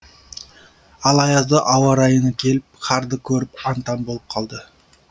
ал аязды ауа райына келіп қарды көріп аң таң болып қалды